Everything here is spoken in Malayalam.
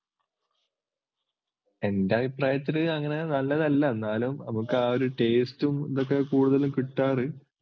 എൻ്റെ അഭിപ്രായത്തില് അങ്ങനെ നല്ലതല്ല എന്നാലും നമുക്കാ ഒരു taste ഉം ഇതൊക്കെ കൂടുതൽ കിട്ടാറ്‌